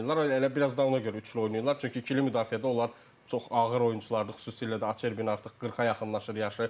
Hə elə biraz da ona görə üçlü oynayırlar, çünki ikili müdafiədə onlar çox ağır oyunçulardır, xüsusilə də Acerbinin artıq 40-a yaxınlaşır yaşı.